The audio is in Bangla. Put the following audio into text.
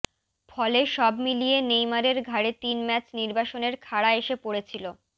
ফলে সব মিলিয়ে নেইমারের ঘাড়ে তিন ম্যাচ নির্বাসনের খাড়া এসে পড়েছিল